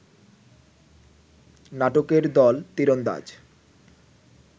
নাটকের দল তীরন্দাজ